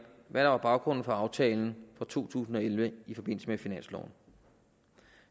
hvad der var baggrunden for aftalen for to tusind og elleve i forbindelse med finansloven